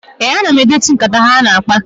Ee, ana m edetu nkata ha na-akpa.